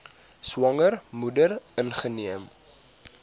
swanger moeder ingeneem